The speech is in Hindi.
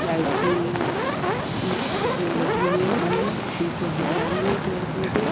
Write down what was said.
लाइट की लगी हुई है खम्भे। पीछे हरियाली है पेड़-पौधे।